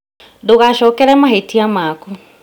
Ndũgacokere mahĩtia maku